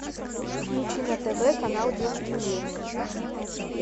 включи на тв канал детский мир